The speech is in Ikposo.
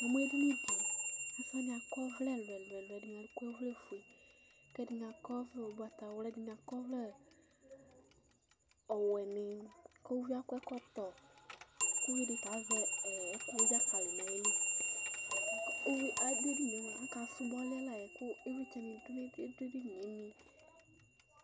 Edini dɩ kʋ asɩ wani akɔ ɔvlɛ ɛlʋ ɛlʋ ɛlʋ: ɛdɩnɩ akɔ ɔvlɛfue kʋ ɛdɩnɩ akɔ ɔvlɛ ugbatawla, ɛdɩnɩ akɔ ɔvlɛ ɔwɛnɩ, kʋ uvi yɛ akɔ ɛkɔtɔ, kʋ uvi dɩta azɛ ɛkʋwʋ dzakali nʋ ayili Adu edini yɛ mua aka sʋbɔ alɛ la yɛ, kʋ ivlitsɛnɩ du edini yɛ